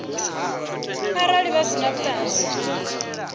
arali vha si na vhuṱanzi